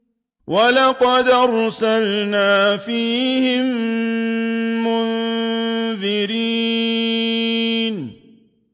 وَلَقَدْ أَرْسَلْنَا فِيهِم مُّنذِرِينَ